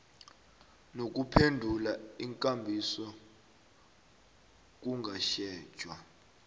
nokuphendula iinkambiso kungatjhejwa